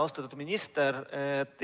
Austatud minister!